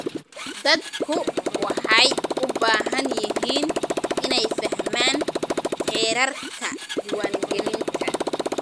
Dadku waxay u baahan yihiin inay fahmaan xeerarka diiwaangelinta.